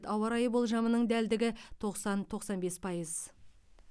ауа райы болжамының дәлдігі тоқсан тоқсан бес пайыз